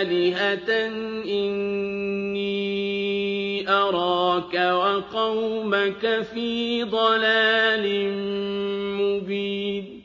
آلِهَةً ۖ إِنِّي أَرَاكَ وَقَوْمَكَ فِي ضَلَالٍ مُّبِينٍ